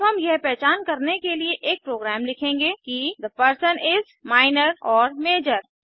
अब हम यह पहचान करने के लिए एक प्रोग्राम लिखेंगे कि थे पर्सन इस माइनर ओर मजोर